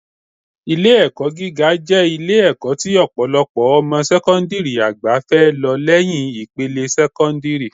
Ilé-ẹ̀kọ́ gíga jẹ́ Ilé-ẹ̀kọ́ tí ọ̀pọ̀ ọmọ sẹ́kọ́ńdìrì àgbà fẹ́ lọ lẹ́yìn ìpele sẹ́kọ́ńdìrì